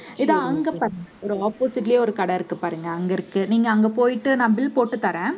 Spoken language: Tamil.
இதோ அங்க பாருங்க ஒரு opposite லயே ஒரு கடை இருக்கு பாருங்க அங்க இருக்கு. நீங்க அங்க போயிட்டு நான் bill போட்டு தர்றேன்.